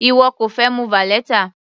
Ìwọ kò fẹ mu valeta?